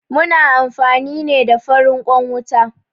Muna amfani ne da farin ƙwan wuta